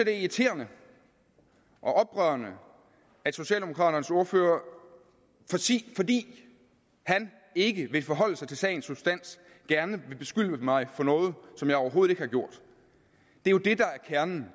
er irriterende og oprørende at socialdemokraternes ordfører fordi han ikke vil forholde sig til sagens substans gerne vil beskylde mig for noget som jeg overhovedet ikke har gjort det er jo det der er kernen